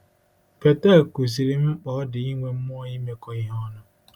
Betel kụziiri m mkpa ọ dị inwe mmụọ imekọ ihe ọnụ.